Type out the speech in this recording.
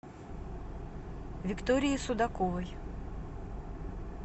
виктории судаковой